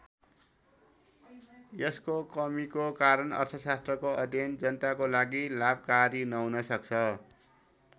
यसको कमीको कारण अर्थशास्त्रको अध्ययन जनताको लागि लाभकारी नहुन सक्छ।